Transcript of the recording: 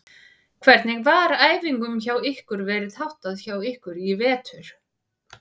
Hvernig var æfingum hjá ykkur verið háttað hjá ykkur í vetur?